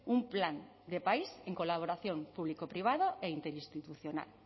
un plan de país en colaboración público privado e interinstitucional